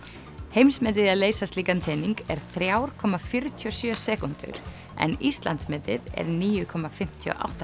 heimsmetið í að leysa slíkan tening er þriggja komma fjörutíu og sjö sekúndur en Íslandsmetið er níu komma fimmtíu og átta